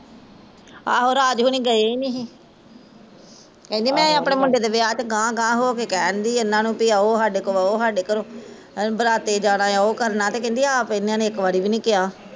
ਆਹੋ ਰਾਜ ਹੁਣੀ ਗਏ ਨੀ ਸੀ ਕਹਿੰਦੀ ਮੈਂ ਅਪਣੇ ਮੁੰਡੇ ਦੇ ਵਿਆਹ ਚ ਗਾਂਹ ਗਾਂਹ ਕਹਿਣ ਦੀ ਸੀ ਏਹਨਾ ਨੂ ਵੀ ਆਓ ਸਾਡੇ ਕੋਲ ਬਹੋ ਸਾਡੇ ਘਰੋਂ ਬਰਾਤੇ ਜਾਣਾ ਆ ਓਹ ਕਰਨਾ ਤੇ ਕਹਿੰਦੀ ਆਪ ਏਹਨਾ ਨੇ ਇੱਕ ਵਾਰ ਵੀ ਨੀ ਕਿਹਾ